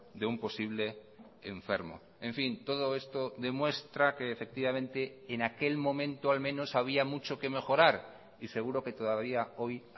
de un posible enfermo en fin todo esto demuestra que efectivamente en aquel momento al menos había mucho que mejorar y seguro que todavía hoy